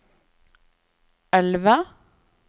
elve